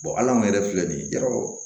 al'an yɛrɛ filɛ nin ye jaraw